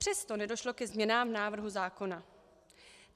Přesto nedošlo ke změnám návrhu zákona.